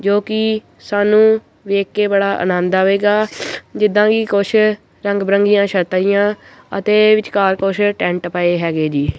ਕਿਉਂਕਿ ਸਾਨੂੰ ਵੇਖ ਕੇ ਬੜਾ ਆਨੰਦ ਆਵੇਗਾ ਜਿੱਦਾਂ ਵੀ ਕੁਛ ਰੰਗ ਬਰੰਗੀਆਂ ਛਾਤਾਂ ਹੀ ਆ ਅਤੇ ਵਿਚਕਾਰ ਕੁਝ ਟੈਂਟ ਪਏ ਹੈਗੇ ਜੀ।